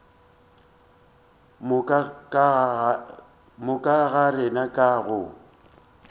moka ga rena ka go